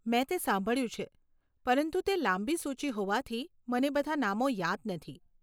મેં તે સાંભળ્યું છે, પરંતુ તે લાંબી સૂચિ હોવાથી, મને બધા નામો યાદ નથી.